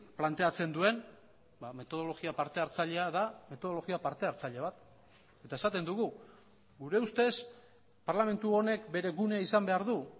planteatzen duen metodologia parte hartzailea da metodologia parte hartzaile bat eta esaten dugu gure ustez parlamentu honek bere gune izan behar du